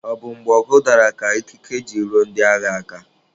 Ọ bụ mgbe ọgụ dara ka ikike ji ruo ndị agha aka.